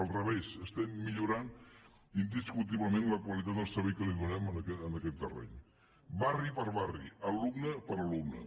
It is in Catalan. al revés estem millorant indiscutiblement la qualitat del servei que donem en aquest terreny barri per barri alumne per alumne